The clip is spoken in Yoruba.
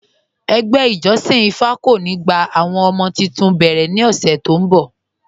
Ẹgbẹ́ ìjọ̀ṣin ìfá kò ní gbà àwọn ọmọ̀ tuntun tí o bẹ́rẹ̀ ní ọṣè tó n bọ̀.